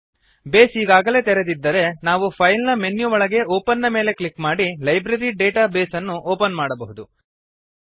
base ಈಗಾಗಲೇ ತೆರೆದಿದ್ದರೆ ನಾವು ಫೈಲ್ ಮೆನು ನ ಒಳಗೆ ಒಪೆನ್ ನ ಮೇಲೆ ಕ್ಲಿಕ್ ಮಾಡಿ ಲೈಬ್ರರಿ ಡೇಟಾ ಬೇಸ್ ಅನ್ನು ಓಪನ್ ಮಾಡಬಹುದು